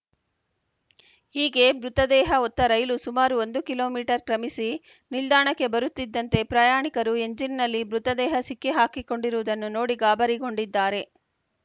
ಹೀಗೆ ಮೃತದೇಹ ಹೊತ್ತ ರೈಲು ಸುಮಾರು ಒಂದು ಕಿಲೋ ಮೀಟರ್ ಕ್ರಮಿಸಿ ನಿಲ್ದಾಣಕ್ಕೆ ಬರುತ್ತಿದ್ದಂತೆ ಪ್ರಯಾಣಿಕರು ಎಂಜಿನ್‌ನಲ್ಲಿ ಮೃತದೇಹ ಸಿಕ್ಕಿಹಾಕಿಕೊಂಡಿರುವುದನ್ನು ನೋಡಿ ಗಾಬರಿಗೊಂಡಿದ್ದಾರೆ